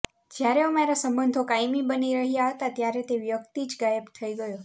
જ્યારે અમારા સંબંધો કાયમી બની રહ્યાં હતાં ત્યારે તે વ્યક્તિ જ ગાયબ થઈ ગયો